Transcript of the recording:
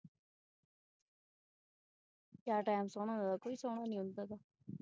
ਕਿਆ ਟਾਈਮ ਸੋਹਣਾ ਹੁੰਦਾ ਕੋਈ ਸੋਹਣਾ ਨੀ ਹੁੰਦਾ।